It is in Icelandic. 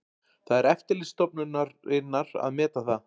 Það er eftirlitsstofnunarinnar að meta það